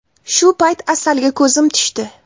Shu payt Asalga ko‘zim tushdi.